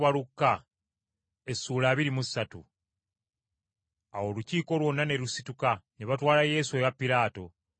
Awo Olukiiko lwonna ne lusituka, ne batwala Yesu ewa Piraato.